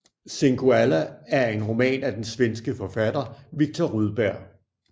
Singoalla er en roman af den svenske forfatter Viktor Rydberg